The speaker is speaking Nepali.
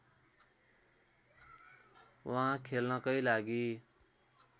उहाँ खेल्नकै लागि